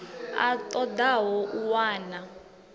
a ṱo ḓaho u wana